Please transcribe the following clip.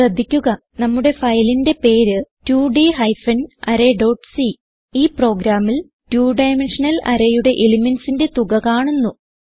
ശ്രദ്ധിക്കുക നമ്മുടെ ഫയലിന്റെ പേര് 2ഡ് ഹൈഫൻ അറേ ഡോട്ട് c ഈ പ്രോഗ്രാമിൽ രണ്ട് 2 ഡൈമെൻഷണൽ arrayയുടെ elementsന്റെ തുക കാണുന്നു